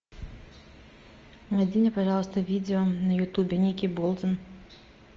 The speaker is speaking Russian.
найди мне пожалуйста видео на ютубе ники болдин